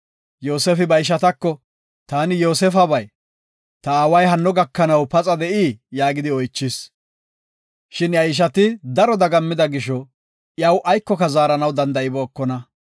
Yoosefi ba ishatako, “Taani Yoosefabay. Ta aaway hanno gakanaw paxa de7ii?” yaagidi oychis. Shin iya ishati daro dagammida gisho, iyaw aykoka zaaranaw danda7ibookona.